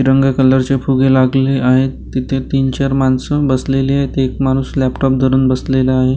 रंग कलरचे फुगे लागलेले आहेत तीथे तीन चार माणस बसलेली आहेत एक माणूस लँपटाॅप धरून बसलेला आहे.